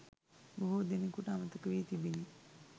බොහෝ දෙනෙකුට අමතක වී තිබිණි.